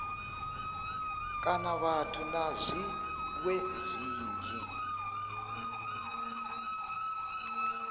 kana vhathu na zwiṅwe zwinzhi